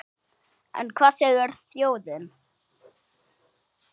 En hvað segir þjóðin?